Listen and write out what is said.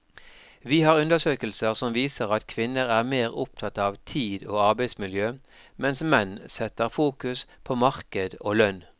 Vi har undersøkelser som viser at kvinner er mer opptatt av tid og arbeidsmiljø, mens menn setter fokus på marked og lønn.